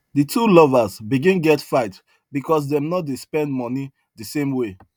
the two lovers begin get fight because dem no dey spend money the same way